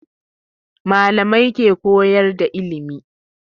Malamai ke koyar da ilimi